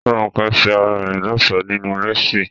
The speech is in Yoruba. Rónkẹ́ ṣe ara rẹ̀ lọ́ṣọ̀ọ́ nínú léèsì